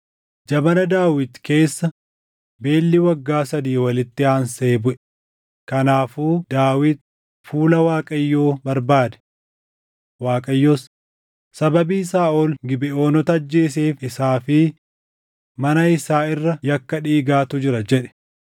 Jabana Daawit keessa beelli waggaa sadii walitti aansee buʼe; kanaafuu Daawit fuula Waaqayyoo barbaade. Waaqayyos, “Sababii Saaʼol Gibeʼoonota ajjeeseef isaa fi mana isaa irra yakka dhiigaatu jira” jedhe.